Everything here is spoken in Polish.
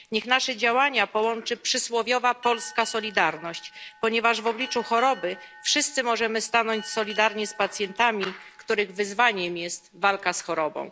Niech nasze działania połączy przysłowiowa polska solidarność, ponieważ w obliczu choroby wszyscy możemy stanąć solidarnie z pacjentami, których wyzwaniem jest walka z chorobą.